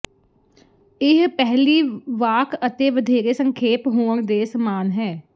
ਇਹ ਪਹਿਲੀ ਵਾਕ ਅਤੇ ਵਧੇਰੇ ਸੰਖੇਪ ਹੋਣ ਦੇ ਸਮਾਨ ਹੈ